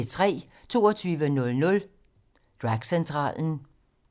22:00: Dragcentralen